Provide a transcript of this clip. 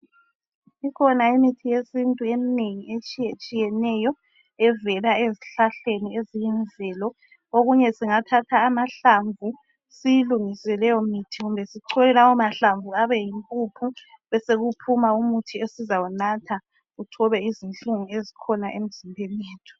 Kukhona imithi yesintu eminengi etshiyetshiyeneyo evela ezihlahleni eziyimvelo. Okunye singathatha amahlamvu siyilungise leyo mithi kumbe sichole lawo mahlamvu abe yimpuphu besekuphuma umuthi esizawunatha uthobe izinhlungu ezikhona emzimbeni yethu.